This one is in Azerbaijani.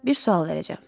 Bir sual verəcəm.